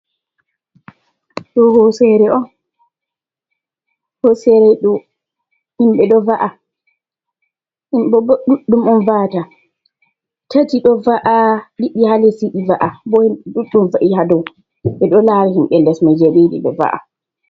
Do hosere un, hosere do himbe do va’a, himbe bo duddum on va 'ata tati do va’a didi ha les yidi va’a bo himbe duɗdum va’i hadou be do lara himbe les mai je bedi yidi be va’a.